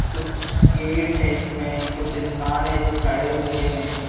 कुछ गेट है इसमे कुछ इंसान है जो खड़े हुए हैं।